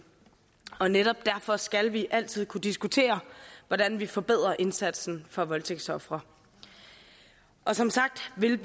netop derfor skal vi altid kunne diskutere hvordan vi forbedrer indsatsen for voldtægtsofre og som sagt vil